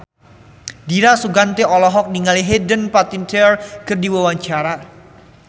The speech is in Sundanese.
Dira Sugandi olohok ningali Hayden Panettiere keur diwawancara